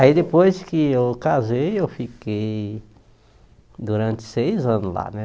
Aí depois que eu casei, eu fiquei durante seis anos lá, né?